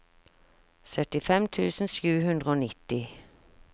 syttifem tusen sju hundre og nitti